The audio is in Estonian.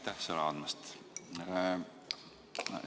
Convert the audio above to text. Aitäh sõna andmast!